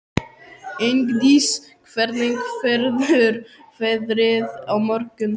Ingdís, hvernig verður veðrið á morgun?